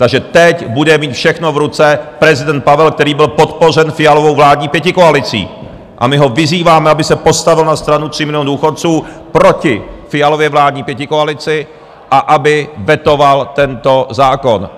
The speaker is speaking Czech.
Takže teď bude mít všechno v ruce prezident Pavel, který byl podpořen Fialovou vládní pětikoalicí, a my ho vyzýváme, aby se postavil na stranu 3 milionů důchodců proti Fialově vládní pětikoalici a aby vetoval tento zákon.